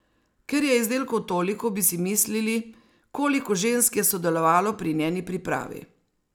Ker je izdelkov toliko, bi si mislili, koliko žensk je sodelovalo pri njeni pripravi.